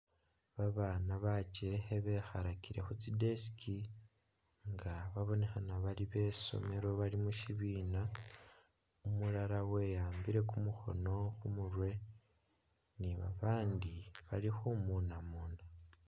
Babaana bakekhe bekhalakile khutsi desk nga babonekhana bali besomelo bali mushibina, umulala wewambile kumukhoono khumurwe ni babandi bali khumunamuna